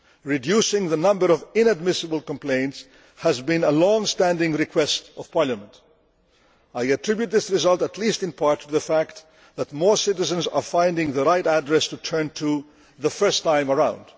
Reducing the number of inadmissible complaints has been a long standing request of Parliament. I attribute this result at least in part to the fact that more citizens are finding the right address to turn to the first time around.